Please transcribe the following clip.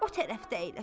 O tərəfdə əyləş.